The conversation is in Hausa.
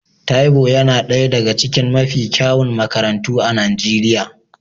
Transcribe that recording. Therbow yana ɗaya daga cikin mafi kyawun makarantu a Najeriya